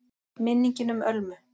MINNINGIN UM ÖLMU